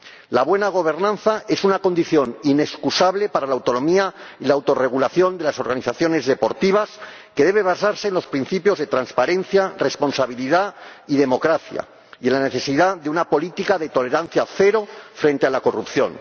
La buena gobernanza es una condición inexcusable para la autonomía y la autorregulación de las organizaciones deportivas, que debe basarse en los principios de transparencia, responsabilidad y democracia y en la necesidad de una política de tolerancia cero frente a la corrupción.